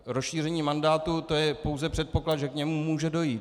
Rozšíření mandátu, to je pouze předpoklad, že k němu může dojít.